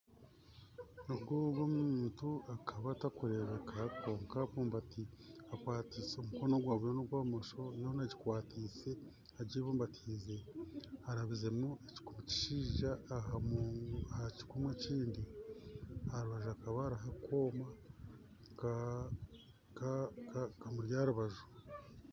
Ogu ogu omuntu akaba atakurebeka kwonka akwatse omukono gwa buryo n'ogwa bumosho yoona agikwatse agibumbatise arabizemu ekikumu ekishaija aha kikumu ekindi aha rubaju hakaba hariho akooma kamuri aha rubaju